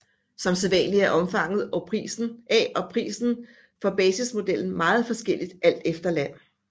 Som sædvanligt er omfanget af og prisen for basismodellen meget forskelligt alt efter land